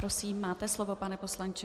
Prosím, máte slovo, pane poslanče.